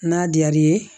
N'a diyar'i ye